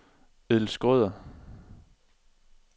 Edel Schrøder